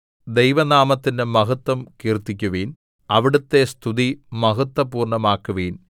ദൈവനാമത്തിന്റെ മഹത്വം കീർത്തിക്കുവിൻ അവിടുത്തെ സ്തുതി മഹത്വപൂർണമാക്കുവിൻ